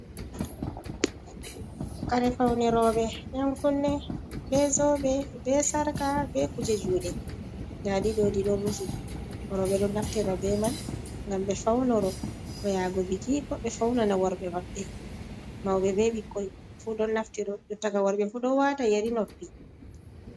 Kare fawni rooɓe, yankunne, bee zoobe, bee sarka, bee kuje juuɗe, ndaa ɗi ɗoo ɗi ɗo rufi, rooɓe ɗo naftira bee man ngam ɓe fawnoro koo yaago biki, koo ɓe fawnana worɓe maɓɓe, mawɓe bee ɓikkoy fuu ɗo naftira, jottaka worɓe fuu ɗo waata yeri noppi.